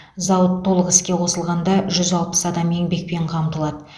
зауыт толық іске қосылғанда жүз алпыс адам еңбекпен қамтылады